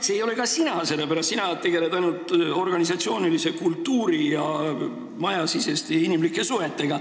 See ei ole ka sina, sellepärast et sina tegeled ainult organisatsioonikultuuri ja majasiseste inimlike suhetega.